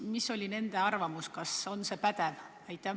Milline oli nende arvamus Terviseameti pädevuse kohta?